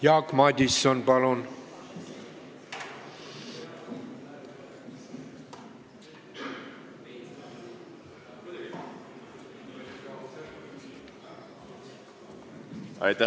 Jaak Madison, palun!